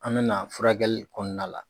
An bɛ na furakɛli kɔɔna la